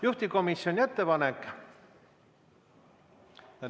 Juhtivkomisjoni ettepanek ...